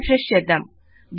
refresh చేద్దాం